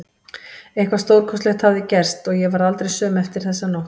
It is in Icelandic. Eitthvað stórkostlegt hafði gerst og ég varð aldrei söm eftir þessa nótt.